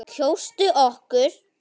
Kjóstu okkur.